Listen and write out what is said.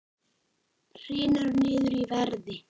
Hrynur niður í verði